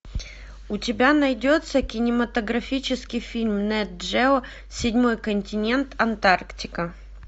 у тебя найдется кинематографический фильм нет джео седьмой континент антарктика